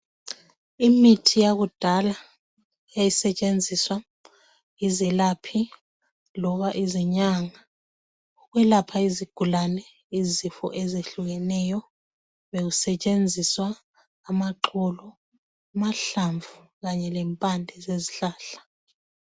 Imithi yakudala yayisetshenziswa yizelaphi loba izinyanga ukwelapha izigulani izifo ezehlukeneyo bekusetshenziswa amagxolo amahlamvu kanye lempande zezihlahla.